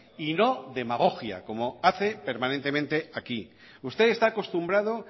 y no demagogia como hace permanentemente aquí usted está acostumbrado